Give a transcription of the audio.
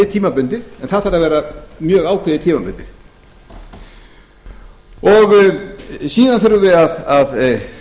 tímabundið en það þarf að vera mjög ákveðið tímabundið síðan þurfum við að